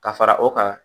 Ka fara o kan